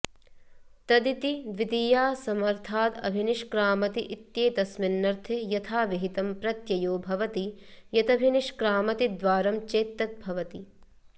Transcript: तदिति द्वितीयासमर्थादभिनिष्क्रामति इत्येतस्मिन्नर्थे यथाविहितं प्रत्ययो भवति यतभिनिष्क्रामति द्वारं चेद् तद् भवति